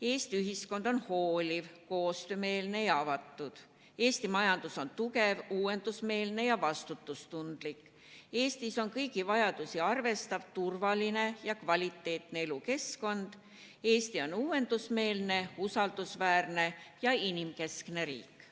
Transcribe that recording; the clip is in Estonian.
2) Eesti ühiskond on hooliv, koostöömeelne ja avatud; 3) Eesti majandus on tugev, uuendusmeelne ja vastutustundlik; 4) Eestis on kõigi vajadusi arvestav, turvaline ja kvaliteetne elukeskkond; 5) Eesti on uuendusmeelne, usaldusväärne ja inimkeskne riik.